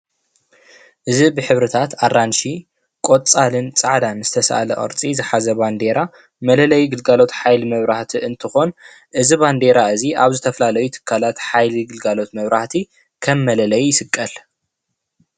እዚ ብሕብርታት ኣራንሺ ቆፃልን ፃዕዳን ዝተሳእለ ቅርፂ ዝሓዘ ባንዴራ መለለይ ግልጋሎት ሓይሊ መብራህቲ እንትኮን እዚ ባንዴራ እዙይ ኣብ ዝተፈላለዩ ትካላት ሓይሊ ግልጋሎት መብራህቲ ከም መለለይ ይስቀል።